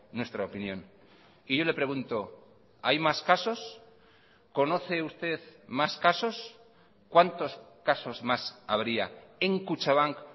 nuestra opinión y yo le pregunto hay más casos conoce usted más casos cuántos casos más habría en kutxabank